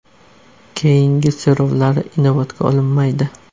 Keyingi so‘rovlari inobatga olinmaydi.